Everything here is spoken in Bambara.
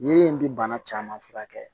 Yiri in bɛ bana caman furakɛ